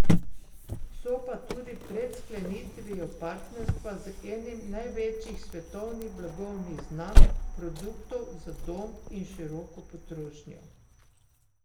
So pa tudi pred sklenitvijo partnerstva z enim največjih svetovnih blagovnih znamk produktov za dom in široko potrošnjo.